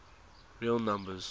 real numbers